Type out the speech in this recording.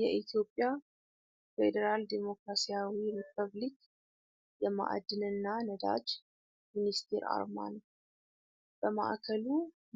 የኢትዮጵያ ፌዴራል ዲሞክራሲያዊ ሪፐብሊክ የማዕድንና ነዳጅ ሚኒስቴር አርማ ነው። በማዕከሉ